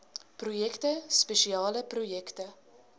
projekte spesiale projekte